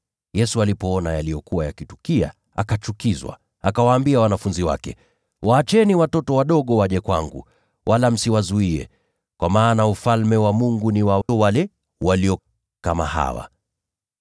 Yesu alipoona yaliyokuwa yakitukia, akachukizwa. Akawaambia wanafunzi wake, “Waacheni watoto wadogo waje kwangu, wala msiwazuie, kwa maana Ufalme wa Mungu ni wa wale walio kama hawa.